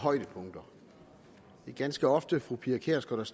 højdepunkter det er ganske ofte fru pia kjærsgaard